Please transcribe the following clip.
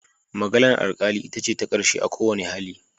Maganar alkali ita ce ta karshe a kowane hali.